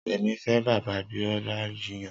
Remi fê bà Biola jiyàn